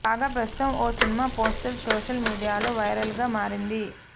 కాగా ప్రస్తుతం ఓ సినిమా పోస్టర్ సోషల్ మీడియాలో వైరల్గా మారింది